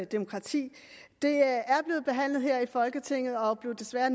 demokrati er blevet behandlet her i folketinget og blev desværre